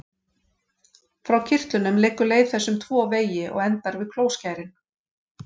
Frá kirtlunum liggur leið þess um tvo vegi og endar við klóskærin.